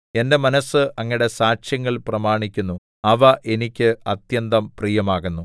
എന്റെ മനസ്സ് അങ്ങയുടെ സാക്ഷ്യങ്ങൾ പ്രമാണിക്കുന്നു അവ എനിക്ക് അത്യന്തം പ്രിയമാകുന്നു